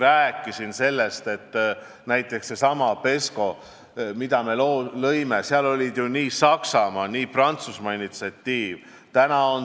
Ma rääkisin sellest, et näiteks sellesama PESCO puhul, mille me lõime, oli ju tegu nii Saksamaa kui ka Prantsusmaa initsiatiiviga.